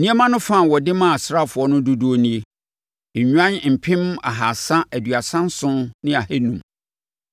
Nneɛma no fa a wɔde maa asraafoɔ no dodoɔ nie: Nnwan mpem ahasa aduasa nson ne ahanum (337,500)